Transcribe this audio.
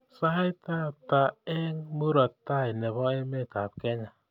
Sait ata eng murop tai nebo emetab Kenya